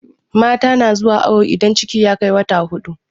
mata na zuwa awo idan ciki ya Kai wata huɗu